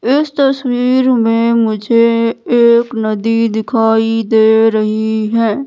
इस तस्वीर में मुझे एक नदी दिखाई दे रही है।